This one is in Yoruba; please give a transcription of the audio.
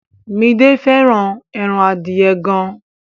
Midé fẹ́ràn ẹran adìẹ gan.